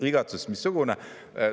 Igatsus missugune!